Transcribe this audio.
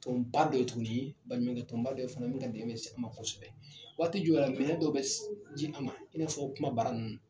Tɔnba dɔ ye tuguni baɲumankɛtɔnba dɔ fana ye min ka dɛmɛn bɛ se an ma kosɛbɛ, waati jɔw la fana , minɛ dɔ bɛ ji an ma i n'a fɔ kuma bara ninnu